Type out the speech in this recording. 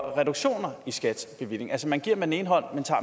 reduktioner i skats bevilling altså man giver med den ene hånd